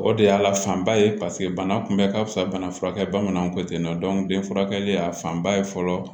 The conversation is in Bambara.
O de y'a la fanba ye paseke bana kunbɛ ka fisa bana furakɛ bamananw ko ten nɔ den furakɛli y'a fanba ye fɔlɔ